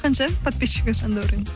қанша подписщигі жандәуреннің